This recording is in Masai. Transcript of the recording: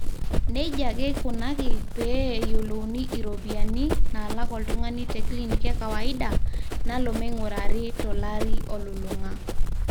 neija ake eikunaki pee eyiolouni iropiyiani naalak oltung'ani teclinic ekawaida nalo meing'urrari tolari olulung'a